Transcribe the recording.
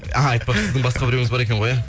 ааа айтпақшы сіздің басқа біреуіңіз бар екені ғой ә